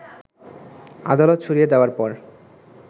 আদালত সরিয়ে দেয়ার পর